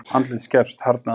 Andlitið skerpst, harðnað.